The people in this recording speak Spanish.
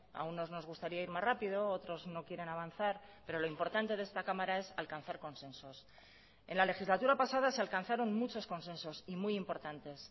a unos nos gustaría ir más rápido otros no quieren avanzar pero lo importante de esta cámara es alcanzar consensos en la legislatura pasada se alcanzaron muchos consensos y muy importantes